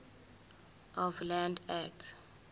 of land act